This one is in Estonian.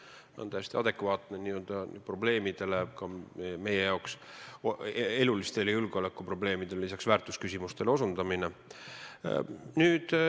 See on täiesti adekvaatne ka meie jaoks, sellistele probleemidele, elulistele julgeolekuprobleemidele ja lisaks väärtusküsimustele osutamine.